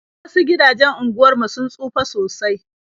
Wasu gidajen unguwar mu sun tsufa sosai.